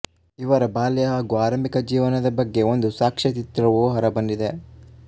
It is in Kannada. ಇವರ ಬಾಲ್ಯ ಹಾಗು ಆರಂಭಿಕ ಜೀವನದ ಬಗ್ಗೆ ಒಂದು ಸಾಕ್ಷ್ಯಚಿತ್ರವೂ ಹೊರಬಂದಿದೆ